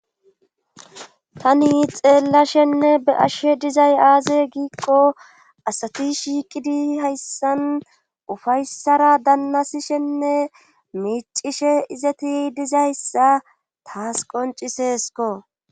Tani xeellashenne be'ashshe dizay aaze giiqqo asati shiiqidi hayssan ufayssara dannasishenne miicishe izati dizayssa taas qoncisesko